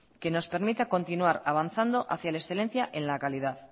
que nos permita continuar avanzando hacia la excelencia en la calidad